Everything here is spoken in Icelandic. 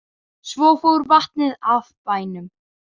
Svo fór vatnið af bænum.